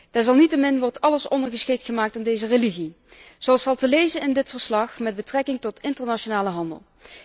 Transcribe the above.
Desalniettemin wordt alles ondergeschikt gemaakt aan deze religie, zoals valt te lezen in dit verslag met betrekking tot internationale handel.